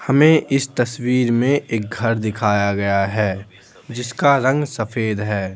हमें इस तस्वीर में एक घर दिखाया गया है जिसका रंग सफेद है।